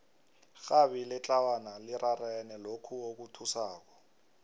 irhabi letlawana lirarene lokhu okuthusako